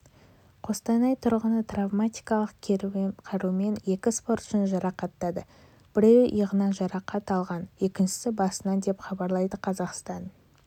қостанай тұрғыны травматикалық қарумен екі спортшыны жарақаттады біреуі иығынан жарақат алған екіншісі басынан деп хабарлайды қазақстан